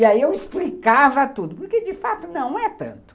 E aí eu explicava tudo, porque de fato não é tanto.